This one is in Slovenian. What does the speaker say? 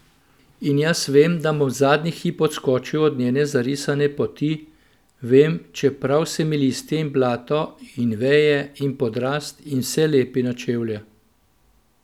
In jaz vem, da bom zadnji hip odskočil od njene zarisane poti, vem, čeprav se mi listje in blato in veje in podrast in vse lepi na čevlje.